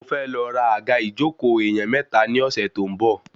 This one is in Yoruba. Mo fẹ́ lọ ra àga ìjókòó èèyàn mẹ́ta ní ọ̀sẹ̀ tó ń bọ̀